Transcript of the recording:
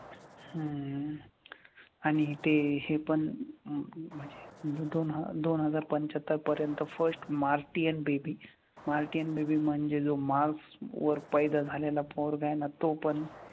हम्म आणि ते हे पण म्हणजे दोन ह दोन हजार पंच्याहत्तर पर्यंत first martian baby, martian baby म्हणजे जो मार्स वर पैदा झालेला पोरगा आहे ना तो पण,